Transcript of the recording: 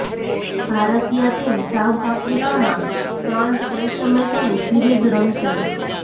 ભારતીય team South આફ્રિકામાં ત્રણ ટેસ્ટ મેચોની સીરીઝ રમશે